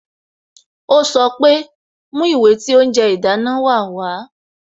Ó sọ pé "Mú ìwé tí oúnjẹ ìdáná wa wá"